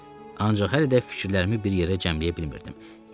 Ancaq hələ də fikirlərimi bir yerə cəmləyə bilmirdim.